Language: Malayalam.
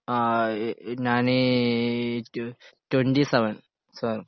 ആ ഇ ഞാന് ഏഹ് ട്വ ട്വൻ്റി സെവൻ